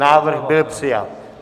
Návrh byl přijat.